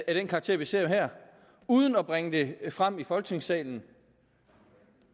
af den karakter vi ser her uden at bringe det frem i folketingssalen